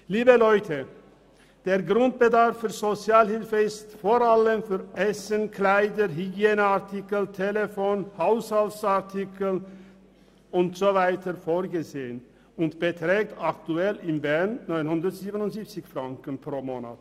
Liebe Leute, der Grundbedarf in der Sozialhilfe ist vor allem für Essen, Kleider, Hygieneartikel, Telefon, Haushaltsartikel usw. vorgesehen und beträgt aktuell in Bern 977 Franken pro Monat.